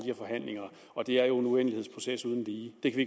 de forhandlinger og det er jo en uendelighedsproces uden lige det kan